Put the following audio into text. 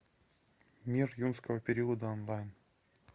мир юрского периода онлайн